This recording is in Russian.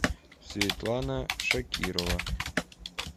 светлана шакирова